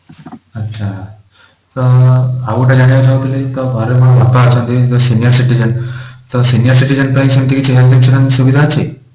ଆଚ୍ଛା ତ ଆଉ ଗୋଟେ ଜାଣିବାକୁ ଚାହୁଁଥିଲି ତ ଘରେ ମୋର ବାପା ଅଛନ୍ତି senior citizen ତ senior citizen ପାଇଁ ସେମିତି କିଛି health insurance ସୁବିଧା ଅଛି?